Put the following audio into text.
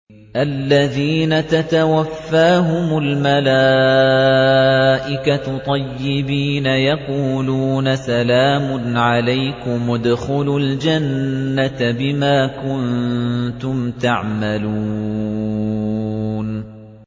الَّذِينَ تَتَوَفَّاهُمُ الْمَلَائِكَةُ طَيِّبِينَ ۙ يَقُولُونَ سَلَامٌ عَلَيْكُمُ ادْخُلُوا الْجَنَّةَ بِمَا كُنتُمْ تَعْمَلُونَ